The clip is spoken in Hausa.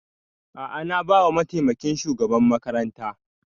A'a na ba wa mataimakin shugaban makaranta